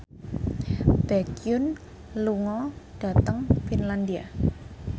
Baekhyun lunga dhateng Finlandia